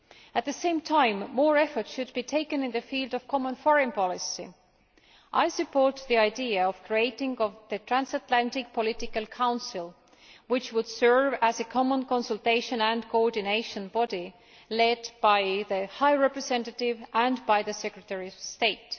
At the same time, more efforts should be taken in the field of foreign policy. I support the idea of creating a transatlantic political council, which would serve as a common consultation and coordination body led by the High Representative and by the Secretary of State.